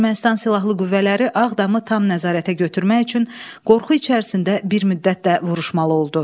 Ermənistan silahlı qüvvələri Ağdamı tam nəzarətə götürmək üçün qorxu içərisində bir müddət də vuruşmalı oldu.